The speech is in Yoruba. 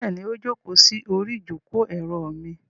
Bẹ́ẹ̀ni, ó jókòó sí orí ìjókòó-èrò mi.